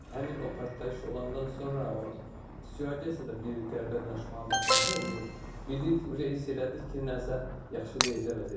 Həmin o partlayış olandan sonra da bir qəribə danışmağa başladı, bildirdi ki, hiss elədik ki, nəsə yaxşı deyildi vəziyyət.